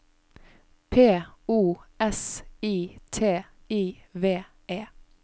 P O S I T I V E